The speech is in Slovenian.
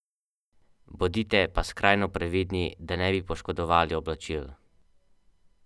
V njem namreč ponosno visijo zastave devetnajstih držav.